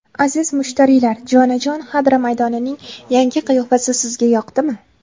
Aziz mushtariylar, jonajon Xadra maydonining yangi qiyofasi sizga yoqdimi?